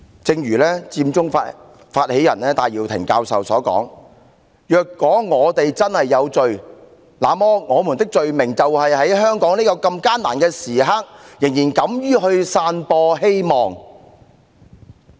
正如佔中發起人戴耀廷教授所言："若我們真是有罪，那麼我們的罪名就是在香港這艱難的時刻仍敢於去散播希望。